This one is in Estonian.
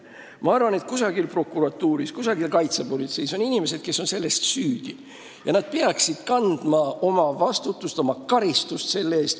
Kusagil prokuratuuris ja kaitsepolitseis on inimesed, kes on selles süüdi, ja nad peaksid kandma vastutust, oma karistust selle eest.